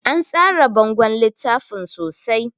An tsara bangon littafin sosai